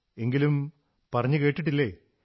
എങ്കിലും പറഞ്ഞു കേട്ടിട്ടില്ലേ